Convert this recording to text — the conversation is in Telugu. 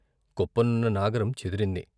కొప్పనున్న నాగరం చెదిరింది.